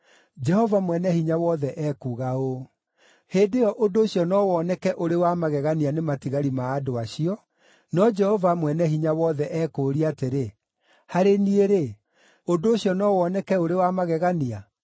Jehova Mwene-Hinya-Wothe ekuuga ũũ: “Hĩndĩ ĩyo ũndũ ũcio no woneke ũrĩ wa magegania nĩ matigari ma andũ acio, no Jehova Mwene-Hinya-Wothe ekũũria atĩrĩ, harĩ niĩ-rĩ, ũndũ ũcio no woneke ũrĩ wa magegania?”